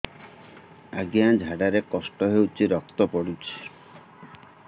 ଅଜ୍ଞା ଝାଡା ରେ କଷ୍ଟ ହଉଚି ରକ୍ତ ପଡୁଛି